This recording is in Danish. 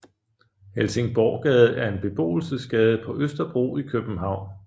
Helsingborggade er en beboelsesgade på Østerbro i København